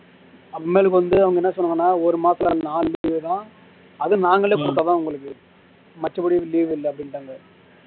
அப்பறமேலுக்கு வந்து அவங்க என்ன சொன்னாங்கன்னா ஒரு மாசத்துல நாலு leave தான் அதுவும் நாங்களே குடுத்தாதான் உங்களுக்கு மற்றபடி leave இல்ல அப்படின்டாங்க